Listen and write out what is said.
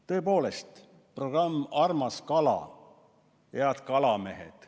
Tõepoolest, programm "Armas kala", head kalamehed ...